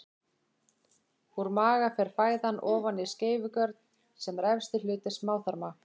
Úr maga fer fæðan ofan í skeifugörn sem er efsti hluti smáþarma.